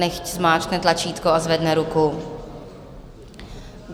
Nechť zmáčkne tlačítko a zvedne ruku.